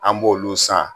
An b'olu san